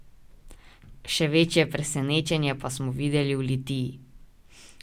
Še večje presenečenje pa smo videli v Litiji.